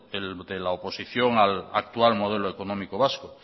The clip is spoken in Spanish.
la oposición al actual modelo económico vasco